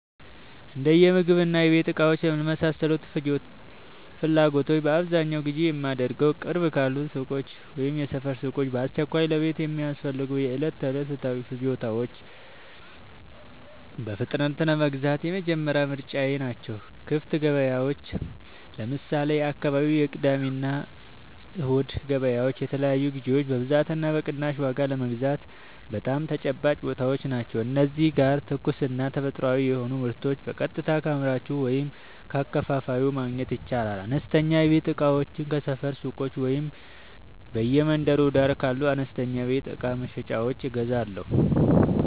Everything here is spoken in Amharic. የእንደምግብና የቤት እቃዎች ለመሳሰሉት ፍላጎቶቼ በአብዛኛው ግዢ የማደርገዉ፦ ቅርብ ካሉ ሱቆች (የሰፈር ሱቆች)፦ በአስቸኳይ ለቤት የሚያስፈልጉ የዕለት ተዕለት ፍጆታዎችን በፍጥነት ለመግዛት የመጀመሪያ ምርጫየ ናቸው። ክፍት ገበያዎች (ለምሳሌ፦ የአካባቢው የቅዳሜና እሁድ ገበያዎች) የተለያዩ ግዥዎችን በብዛትና በቅናሽ ዋጋ ለመግዛት በጣም ተመራጭ ቦታዎች ናቸው። እዚህ ጋር ትኩስና ተፈጥሯዊ የሆኑ ምርቶችን በቀጥታ ከአምራቹ ወይም ከአከፋፋዩ ማግኘት ይቻላል። አነስተኛ የቤት እቃዎችን ከሰፈር ሱቆች ወይም በየመንገዱ ዳር ካሉ አነስተኛ የቤት እቃ መሸጫዎች እገዛለሁ።